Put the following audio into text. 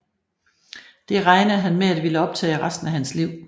Det regnede han med at ville optage resten af hans liv